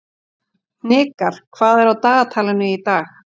Hnikar, hvað er á dagatalinu í dag?